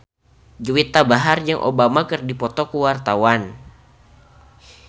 Juwita Bahar jeung Obama keur dipoto ku wartawan